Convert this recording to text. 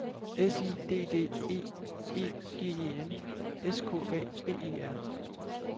S I D D E E G E N S K A B E R